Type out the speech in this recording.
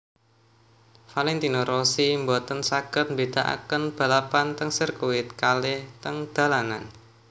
Valentino Rossi mboten saget mbedaaken balapan teng sirkuit kalih teng dalanan